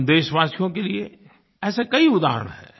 हम देशवासियों के लिए ऐसे कई उदाहरण हैं